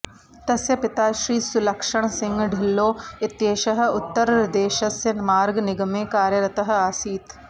तस्य पिता श्रीसुलक्षणसिंह ढिल्लो इत्येषः उत्तर्रदेशस्य मार्गनिगमे कार्यरतः आसीत्